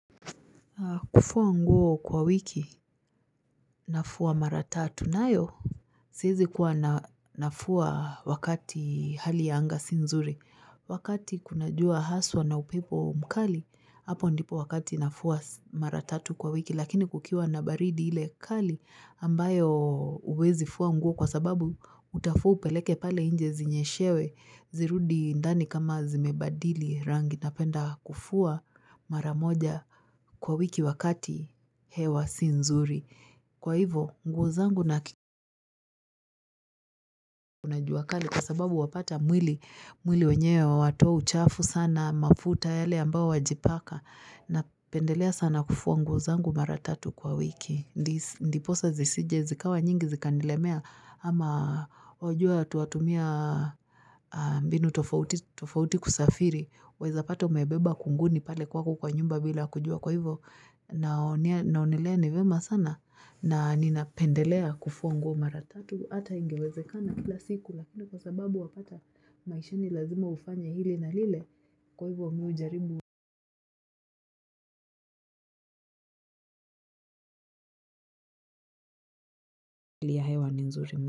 Kufua nguo kwa wiki nafua mara tatu, nayo. Siezi kuwa nafua wakati hali ya anga si nzuri. Wakati kuna jua haswa na upepo mkali, hapo ndipo wakati nafua mara tatu kwa wiki. Lakini kukiwa na baridi ile kali ambayo huwezi fua nguo kwasababu utafua upeleke pale nje zinyeshewe zirudi ndani kama zimebadili rangi napenda kufua mara moja. Kwa wiki wakati hewa si nzuri kwa hivo nguo zangu. Kuna jua kali kwa sababu wapata mwili mwili wenyewe watoa uchafu sana mafuta yale ambao wajipaka napendelea sana kufua nguo zangu maratatu kwa wiki. Ndipo sa zisije zikawa nyingi zikanilemea ama wajua watu watumia mbinu tofauti kusafiri. Weza pata umebeba kunguni pale kwako kwa nyumba bila kujua kwa hivo. Naonelea ni vema sana na nina pendelea kufua nguo mara tatu ata ingewezekana kila siku lakini kwa sababu wapata maishani lazima ufanye hili na lile. Kwa hivyo mi hujaribu hili. Ya hewa ni nzuri.